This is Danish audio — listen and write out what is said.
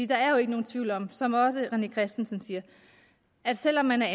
der er jo ikke nogen tvivl om som også herre rené christensen siger at selv om man har